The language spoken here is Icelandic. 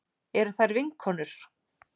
Eru þær vinkonur?